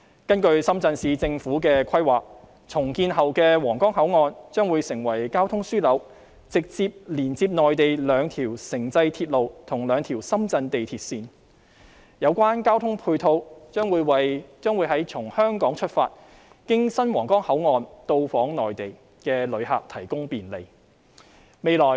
根據深圳市政府的規劃，重建後的皇崗口岸將會成為交通樞紐，直接連接內地兩條城際鐵路及兩條深圳地鐵線，有關的交通配套將會為從香港出發經新皇崗口岸到訪內地的旅客提供便利。